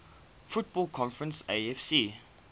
football conference afc